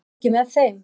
Ert þú ekki með þeim?